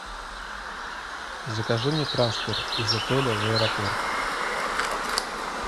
закажи мне трансфер из отеля в аэропорт